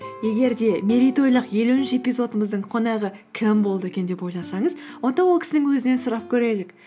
егер де мерейтойлық елуінші эпизодымыздың қонағы кім болды екен деп ойласаңыз онда ол кісінің өзінен сұрап көрелік